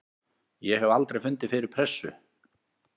Ég hef aldrei fundið fyrir pressu.